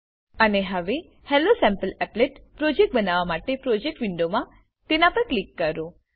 અને હવે હેલોસેમ્પલીપલેટ પ્રોજેક્ટ બનાવવા માટે પ્રોજેક્ટ વિન્ડો મા તેના પર ક્લિક કરો